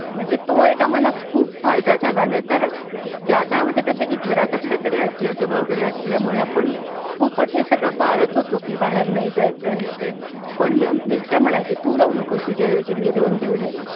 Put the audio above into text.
म्हणजे तो एक आम्हाला खूप फायदा झाला नाही तर त्या काळा मध्ये कसं आहे की घरात आपल्याकडे आजी आजोबा वगैरे .असल्यामुळे आपण खूपच हे सगळं पाळत होतो कि बाहेर नाही जायचं आहे ते पण मिस्टर म्हणायचे तू जाऊ नकोस तुझ्या ऐवजी मी जाऊन देऊन येतो.